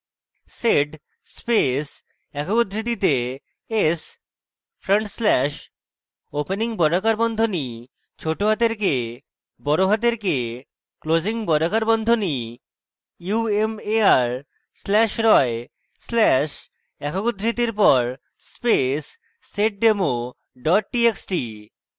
sed space একক উদ্ধৃতিতে s front slash opening বর্গাকার বন্ধনী ছোটহাতের k বড়হাতের k closing বর্গাকার বন্ধনী umar slash roy slash একক উদ্ধৃতির পর space seddemo txt txt